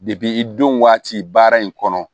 i don waati baara in kɔnɔ